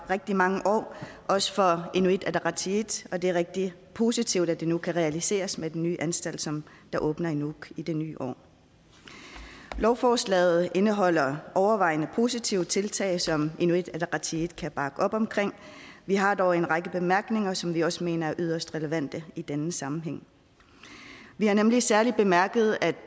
rigtig mange år også fra inuit ataqatigiits og det er rigtig positivt at det nu kan realiseres med den nye anstalt som åbner i nuuk i det nye år lovforslaget indeholder overvejende positive tiltag som inuit ataqatigiit kan bakke op om vi har dog en række bemærkninger som vi også mener er yderst relevante i denne sammenhæng vi har nemlig særlig bemærket at